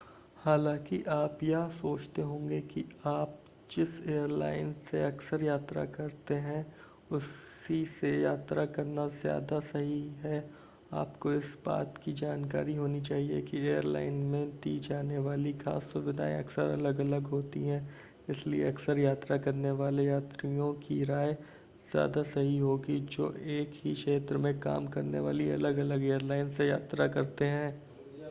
हालांकि आप यह सोचते होंगे कि आप जिस एयरलाइन से अक्सर यात्रा करते हैं उसी से यात्रा करना ज़्यादा सही है आपको इस बात की जानकारी होनी चाहिए कि एयरलाइन में दी जाने वाली खास सुविधाएं अक्सर अलग-अलग होती हैं इसलिए अक्सर यात्रा करने वाले यात्रियों की राय ज़्यादा सही होगी जो एक ही क्षेत्र में काम करने वाली अलग-अलग एयरलाइन से यात्रा करते हैं